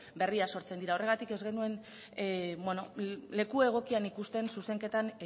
berriak sortzen dira horregatik ez genuen leku egokian ikusten zuzenketan